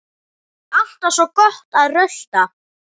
Alltaf svo gott að rölta.